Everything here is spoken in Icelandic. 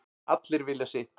Allir vilja sitt